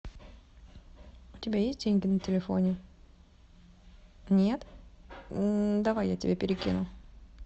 у тебя есть деньги на телефоне нет давай я тебе перекину